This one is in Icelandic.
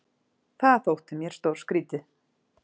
Það þótti mér stórskrítið.